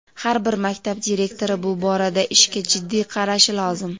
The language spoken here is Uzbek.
har bir maktab direktori bu borada ishga jiddiy qarashi lozim.